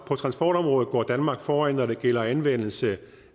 på transportområdet går danmark foran når det gælder anvendelse